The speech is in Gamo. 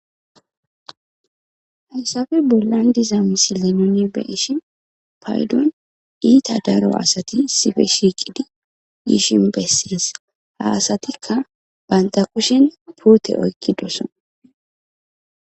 Hayssappe bollan diz misile nuni be'ishin payduwan keehi dalgga asati issipe shiqidi dishin beesses. Ha asatika banta kushena pute oyiqidosona